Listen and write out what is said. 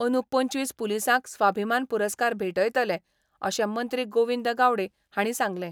अंदू पंचवीस पुलिसांक स्वाभिमान पुरस्कार भेटयतलें, अशें मंत्री गोविंद गावडे हांणी सांगलें.